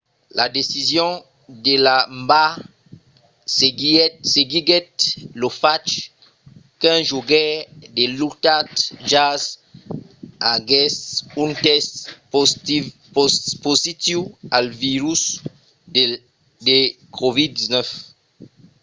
la decision de la nba seguiguèt lo fach qu'un jogaire de l'utah jazz aguèsse un test positiu al virus de covid-19